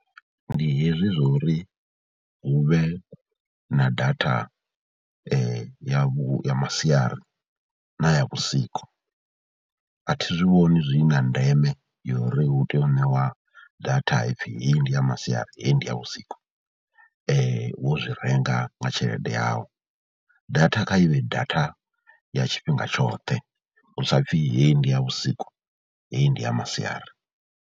Ndi hezwi zwo ri hu vhe na data ya vhu ya masiari na ya vhusiku, a thi zwi vhoni zwi na ndeme yori hu tea u ṋewa data ha pfhi heyi ndi ya masiari, heyi ndi ya vhusiku wo zwi renga nga tshelede yau. Data kha i vhee data ya tshifhinga tshoṱhe hu sa pfhi heyi ndi ya vhusiku, heyi ndi ya masiari.